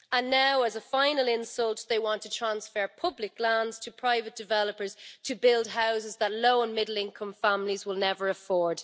Now, as a final insult, they want to transfer public lands to private developers to build houses that low and middle income families will never afford.